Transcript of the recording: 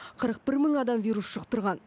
қырық бір мың адам вирус жұқтырған